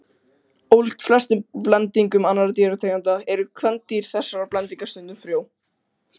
Ólíkt flestum blendingum annarra dýrategunda eru kvendýr þessara blendinga stundum frjó.